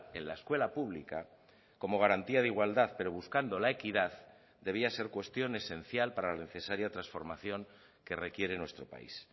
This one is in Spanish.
en la escuela pública como garantía de igualdad pero buscando la equidad debía ser cuestión esencial para la necesaria transformación que requiere nuestro país